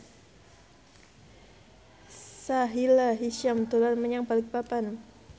Sahila Hisyam dolan menyang Balikpapan